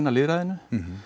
lýðræðinu